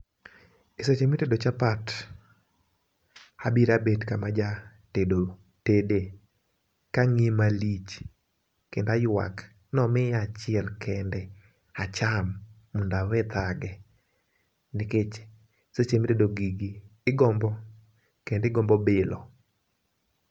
E seche mitede chapat abira bet kama jatedo tede, kang'iye malich kendo aywak nomiya achiel kende acham mondo awe thage nikech seche mitedo gigi igombo kendi gombo bilo.